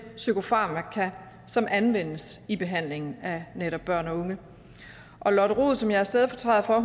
psykofarmaka som anvendes i behandlingen af netop børn og unge og lotte rod som jeg er stedfortræder for